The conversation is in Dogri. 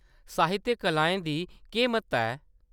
साहित्यक कलाएं दी केह्‌‌ म्हत्ता ऐ ?